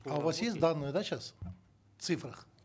а у вас есть данные да сейчас в цифрах